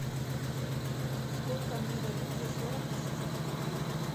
сколько мне дадут за сорок российских рублей